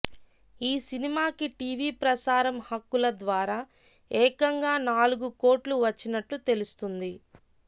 ఈ సినిమాకి టీవీ ప్రసారం హక్కుల ద్వారా ఏకంగా నాలుగు కోట్లు వచ్చినట్లు తెలుస్తుంది